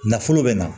Nafolo bɛ na